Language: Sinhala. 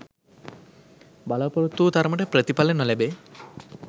බලා‍පොරොත්තු වූ තරමට ප්‍රතිඵල නොලැබේ.